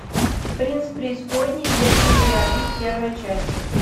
принц преисподней демоны и реалист первая часть